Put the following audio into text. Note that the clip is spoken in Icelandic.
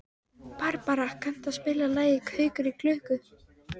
Barbara, kanntu að spila lagið „Gaukur í klukku“?